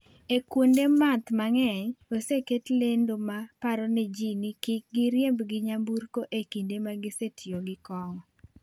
E kuonde math mang’eny, oseket lendo ma paro ne ji ni kik giriemb gi nyamburko e kinde ma gisetiyo gi kong’o.